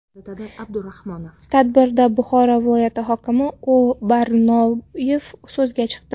Tadbirda Buxoro viloyati hokimi O‘.Barnoyev so‘zga chiqdi.